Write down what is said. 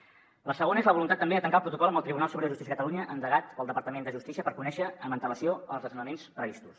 la segona és la voluntat també de tancar el protocol amb el tribunal superior de justícia de catalunya endegat pel departament de justícia per conèixer amb antelació els desnonaments previstos